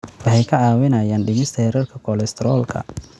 Waxay kaa caawinayaan dhimista heerarka kolestaroolka.